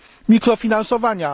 mikrofinansowania.